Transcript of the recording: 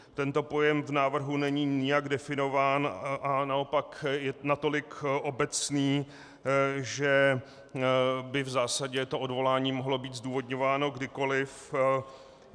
Tento pojem v návrhu není nijak definován a naopak je natolik obecný, že by v zásadě to odvolání mohlo být zdůvodňováno kdykoliv.